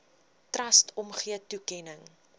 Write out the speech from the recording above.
trust omgee toekenning